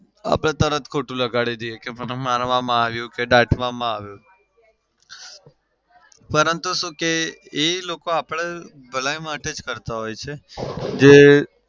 આપડે તરત જ ખોટું લગાડી દઈએ કે મને મારવામાં આવ્યો કે દાટવામાં આવ્યો. પરંતુ શું કે એ લોકો આપડી ભલાઈ માટે જ કરતા હોઈએ છે જે